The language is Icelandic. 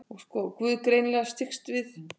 Guð greinilega styggst við.